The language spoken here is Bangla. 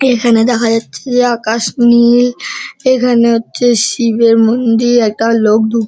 এইখানে দেখা যাচ্ছে যে আকাশ নীল এখানে হচ্ছে শিবের মন্দির একটা লোক ধুঁক--